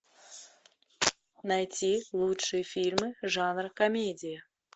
найти лучшие фильмы жанра комедия